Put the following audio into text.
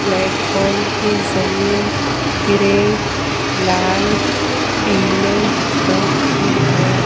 Platform की जमीन grey लाल पीले रंग की है।